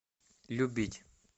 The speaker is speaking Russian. любить